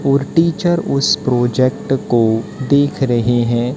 और टीचर उसे प्रोजेक्ट को देख रहे हैं।